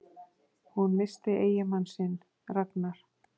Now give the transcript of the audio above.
Hún missti eiginmann sinn, Ragnar